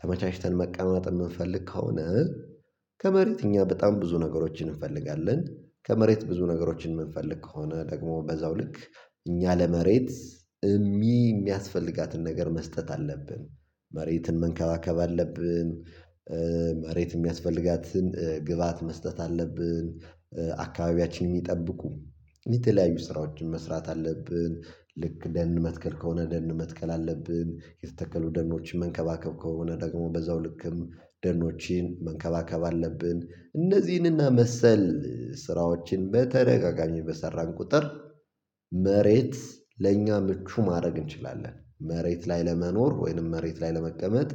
ተመቻችተን መቀማጥ የምንፈልግ ከሆነ ከመሬት እኛ በጣም ብዙ ነገሮችን እንፈልጋለን ከመሬት ብዙ ነገሮችን የምንፈልግ ከሆነ ደግሞ በዛው ልክ እኛ ለመሬት የሚያስፈልጋትን ነገር መስጠት አለብን መሬትን መንከባከብ አለብን መሬት የሚያስፈልጋትን ግብአት መስጠት አለብን አካባቢያችን የሚጠብቁ የተለያዩ ስራዎችን መስራት አለብን፣ ልክ ደን መትከል ከሆነ ደን መትከል አለብን፣ የተተከሉ ደኖችን መንከባከብ ከሆነ ደግሞ በዛው ልክም ደኖቼን መንከባከብ አለብን፣ እነዚህንና መሰል ስራዎችን በተረጋጋሚ በሰራን ቁጥር መሬት ለእኛ ምቹ ማድረግ እንችላለን መሬት ላይ ለመኖር ወይንም መሬት ላይ ለመቀመጥ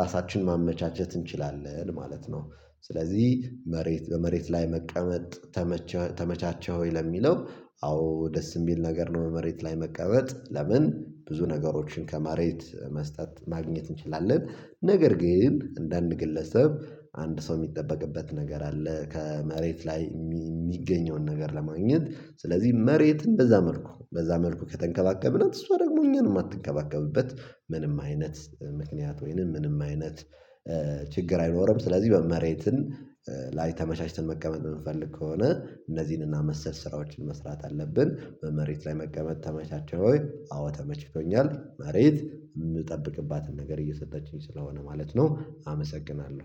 ራሳችንን ማመቻቸት እንችላለን ማለት ነው ስለዚህ መሬት በመሬት ላይ መቀመጥ ተመቸ ተመቻቸህ ወይ ለሚለው አዎ ደስ የሚል ነገር ነው መሬት ላይ መቀመጥ ለምን ብዙ ነገሮችን ከመሬት መስጠት ማግኘት እንችላለን ነገር ግን እንደ አንድ ግለሰብ አንድ ሰው የሚጠበቅበት ነገር አለ ከመሬት ላይ የሚገኘውን ነገር ለማግኘት ስለዚህ መሬትን በዛ መልኩ በዛ መልኩ ከተንከባከብን እሷ ደግሞ እኛንም የማትንከባከብበት ምንም አይነት ምክንያት ወይንም ምንም አይነት ችግር አይኖርም። ስለዚህ በ መሬትን ላይ ተመቻችተን መቀመጥ የምንፈልግ ከሆነ እነዚህንና መሰል ስራዎችን መስራት አለብን በመሬት ላይ መቀመጥ ተመቻቸው ወይ አዎ ተመችከኛል መሬት የምጠብቅባትን ነገር እየሰጠችኝ ስለሆነ ማለት ነው አመሰግናለሁ።